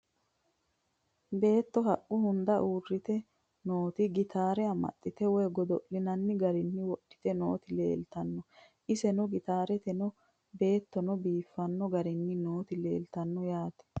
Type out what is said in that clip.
Beetto haqqu hunda uuritte nootti gitaarre amaxxitte woy godo'linaanni garinni wodhitte nootti leelittanno. isenno gitaarenno beettonno biiffanno garinni nootti leelittanno yaatte